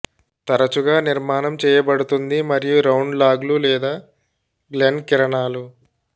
తరచుగా నిర్మాణం చేయబడుతుంది మరియు రౌండ్ లాగ్లు లేదా గ్లెన్ కిరణాలు